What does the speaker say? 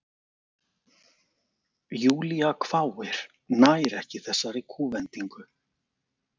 Júlía hváir, nær ekki þessari kúvendingu.